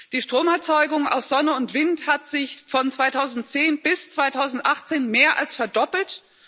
Die Stromerzeugung aus Sonne und Wind hat sich von 2010 bis 2018 mehr als verdoppelt.